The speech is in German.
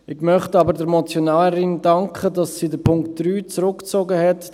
Ich möchte aber der Motionärin danken, dass sie den Punkt 3 zurückgezogen hat.